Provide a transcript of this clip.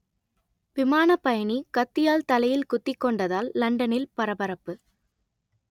விமான பயணி கத்தியால் தலையில் குத்திக் கொண்டதால் லண்டனில் பரபரப்பு